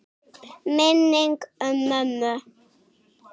Minning um mömmu.